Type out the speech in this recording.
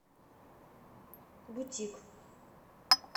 бутик